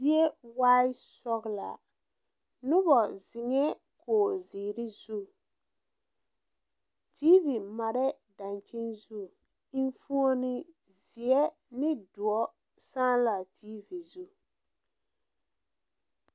Zie waa sɔglaa noba ziŋɛɛ kogrezeere zu TV mare la a dankyini zu eŋfuoni zeɛ ane doɔre saa la a tv zu.